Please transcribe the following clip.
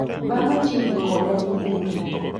Baa machiegni koda ni kure?